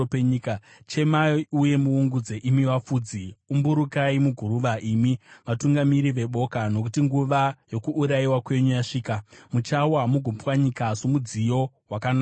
Chemai uye muungudze, imi vafudzi; umburukai muguruva, imi vatungamiri veboka. Nokuti nguva yokuurayiwa kwenyu yasvika; muchawa mugopwanyika somudziyo wakanaka wevhu.